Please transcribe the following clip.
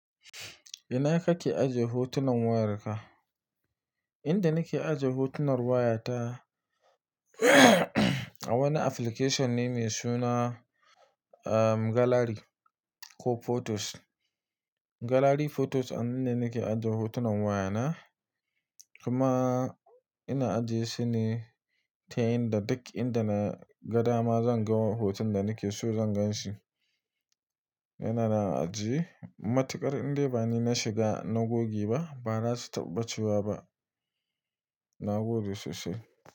Ina kake ajiye hotunan wayarka? Inda nake ajiye hotunan wayata a wani application ne mai suna, Gallery ko Photos. Gallery Photos anan ne nake ajjiye hotunan wayana. Kuma, ina ajiyesu ne ta yin da duk inda na ga dama zan ga hoton da nake so zan ganshi. Ina na ajiye. Matuƙar indai bani na shiga na goge ba, ba za su taɓa ɓacewa ba. Na goge sosai.